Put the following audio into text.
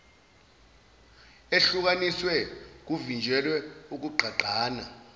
ehlukanisiwe kuvinjelwe ukugqagqana